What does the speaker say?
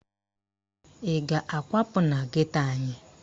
Ị ga-akwapụ na geto anyị?